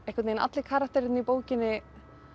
einhvern veginn allir karakterarnir í bókinni